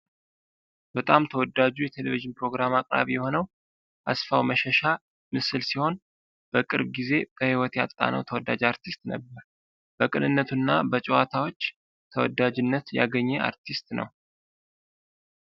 በጣም ተወዳጁ የቴሌቪዥን የፕሮግራም አቅራቢ የሆነው አስፋው መሸሻ ምስል ሲሆን በቅርብ ጊዜ በህይወት ያጣነው ተወዳጅ አርቲስት ነበር። በቅንነነቱ እና በጨዋታዎችን ተወዳጅነት ያገኜ አርቲስት ነው።